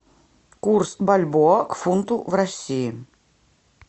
курс бальбоа к фунту в россии